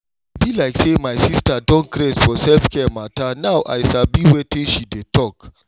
e be like say my sista don craze for self-care matter now i sabi wetin she dey talk.